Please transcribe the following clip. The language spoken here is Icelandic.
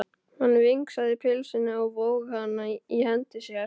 Hann vingsaði pylsunni og vóg hana í hendi sér.